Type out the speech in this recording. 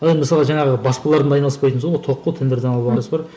мысалға жаңағы баспалардың айналыспайтыны сол ғой тоқ қой